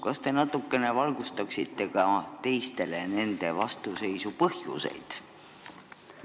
Kas te natukene valgustaksite ka selles saalis nende vastuseisu põhjuseid?